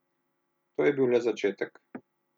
To je bil le začetek.